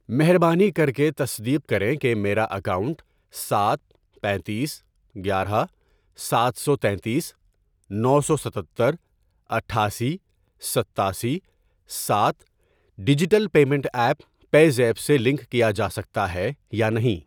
مہربانی کرکے تصدیق کریں کہ میرا اکاؤنٹ سات ، پینتیس، گیارہ ، ساتھ سو تینتیس ، نو سو ستتر، اٹھاسی، ستاسی ، ساتھ، digital payment app PayZapp سے لنک کیا جا سکتا ہے یا نہیں۔